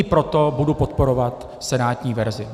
I proto budu podporovat senátní verzi.